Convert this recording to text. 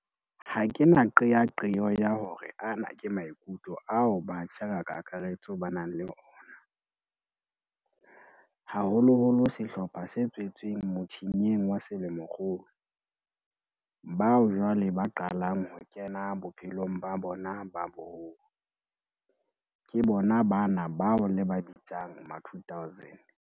Ha ke na qeaqeo ya hore ana ke maikutlo ao batjha ka kakaretso ba nang le ona, haholoholo sehlopha se tswetsweng mothinyeng wa selemokgolo, bao jwale ba qalang ho kena bophelong ba bona ba boholo, ke bona bana bao le ba bitsang ma2000.